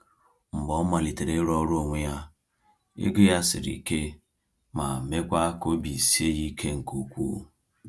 Mgbe ọ malitere ịrụ ọrụ onwe ya, ego ya siri ike ma meekwa ka obi sie ya ike nke ukwuu.